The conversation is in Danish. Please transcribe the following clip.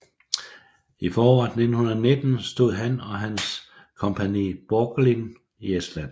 I foråret 1919 stod han og hans Compagnie Borgelin i Estland